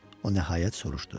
O nəhayət soruşdu.